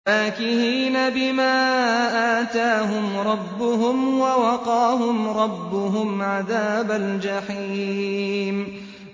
فَاكِهِينَ بِمَا آتَاهُمْ رَبُّهُمْ وَوَقَاهُمْ رَبُّهُمْ عَذَابَ الْجَحِيمِ